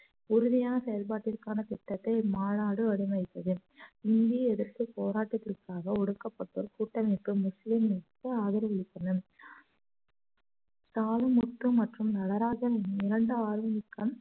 உறுதியான செயல்பாட்டிற்கான திட்டத்தை இம்மாநாடு வடிவமைத்தது இந்திய எதிர்ப்புப் போராட்டத்திற்காக ஒடுக்கப்பட்டோர் கூட்டமைப்பு முஸ்லிம் லீக்களுக்கு ஆதரவளித்தனர் தாது முற்று மற்றும் நடராஜன் இரண்டு ஆளும் மிக்க